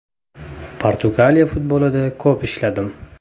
Portugaliya futbolida ko‘p ishladim.